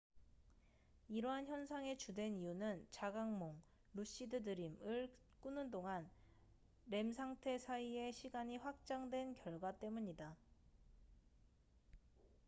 이러한 현상의 주된 이유는 자각몽lucid dream을 꾸는 동안 rem 상태 사이의 시간이 확장된 결과 때문이다